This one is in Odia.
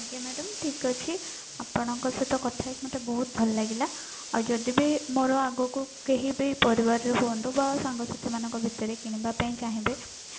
ଆଜ୍ଞା madam ଠିକ ଅଛି ଆପଣଙ୍କ ସହିତ କଥା ହେଇକି ମତେ ବହୁତ ଭଲ ଲାଗିଲା ଆଉ ଯଦି ବି ମୋର ଆଗକୁ କେହି ବି ପରିବାର ର ହୁଅନ୍ତୁ ବା ସାଙ୍ଗ ସାଥି ମାନଙ୍କ ଭିତରେ କିଣିବା ପାଇଁ ଚାହିଁବେ